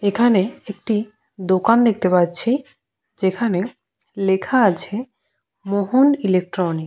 এখানে একটি দোকান দেখতে পাচ্ছি। যেখানে লেখা আছে মোহন ইলেকট্রনিক ।